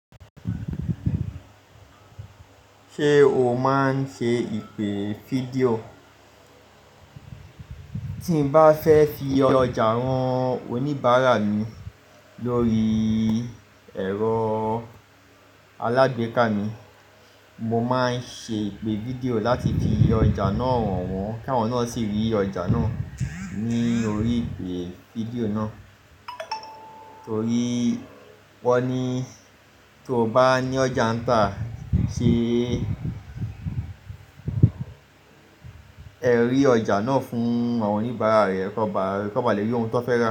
Ṣé o máa ń ṣe ìpè fídíò? Tí mo bá fẹ́ fi ọjà rán oníbàárà mí lórí ẹ̀rọ alágbèéká mi, mo máa ń ṣe ìpè fídíò láti fi ọjà náà hàn wọ́n k'awọ́n na sì rí ọjà náà ní orí ìpè fídíò náà. Nítorí wọ́n ní tí o bá ní ọjà tà ṣe ẹ rí ọjà náà fún àwọn oníbàárà rẹ, kanba lẹ́ ri ọ́un tó fẹ́ ra.